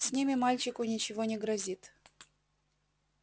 с ними мальчику ничего не грозит